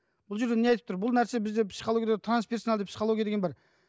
бұл жерде не айтып тұр бұл нәрсе бізде бізде психологияда трансперсоналды психология деген бар